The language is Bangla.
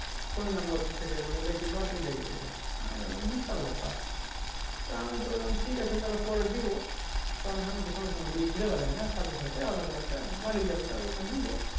phone নাম্বার থেকে বলে কি না lottery লেগে গাছে হামি বললাম বিশাল ব্যাপার আমি তো বললাম ঠিক আছে পরে দেব কারণ আমি তো সঙ্গে সঙ্গে নিয়ে বেড়েই না aadhar card তা তো বাড়ি যাবো তার পর তো দিবো